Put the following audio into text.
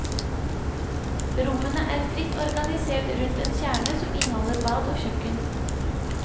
Rommene er fritt organisert rundt en kjerne som inneholder bad og kjøkken.